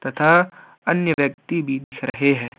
तथा अन्य व्यक्ति भी दिख रहे हैं।